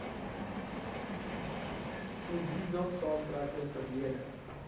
imbizo saamtrekke verlede